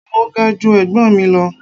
Mo ga ju ẹ̀gbọ́n mi lọ.